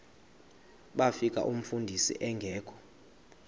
bafika umfundisi engekho